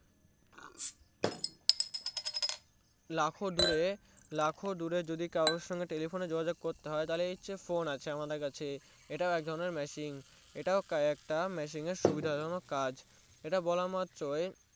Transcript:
যেমন লাখ দূরে লাখ দূরে যদি কারোর সঙ্গে যদি Teliphone এ সঙ্গে যোগ যোগ করতে তাহলে আমাদের Phone আছে আমাদের কাছে ইটা এক ধরণের Machine এটাও একটা সুভিদা জনক কাজ ইটা বলা মাত্রই